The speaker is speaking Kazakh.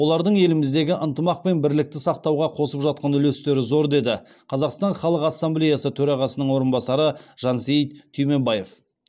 олардың еліміздегі ынтымақ пен бірлікті сақтауға қосып жатқан үлестері зор деді қазақстан халық ассамблеясы төрағасының орынбасары жансейіт түймебаев